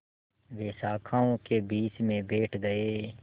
वे शाखाओं के बीच में बैठ गए